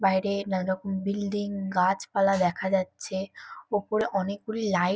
বাইরে নানারকম বিল্ডিং গাছপালা দেখা যাচ্ছে । ওপরে অনেকগুলি লাইট |